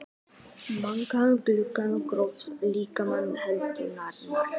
Margar huggulegar Grófasti leikmaður deildarinnar?